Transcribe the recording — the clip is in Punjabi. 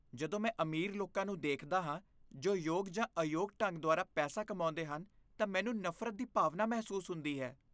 ਜਦੋਂ ਮੈਂ ਅਮੀਰ ਲੋਕਾਂ ਨੂੰ ਦੇਖਦਾ ਹਾਂ ਜੋ ਯੋਗ ਜਾਂ ਅਯੋਗ ਢੰਗ ਦੁਆਰਾ ਪੈਸਾ ਕਮਾਉਂਦੇ ਹਨ, ਤਾਂ ਮੈਨੂੰ ਨਫ਼ਰਤ ਦੀ ਭਾਵਨਾ ਮਹਿਸੂਸ ਹੁੰਦੀ ਹੈ।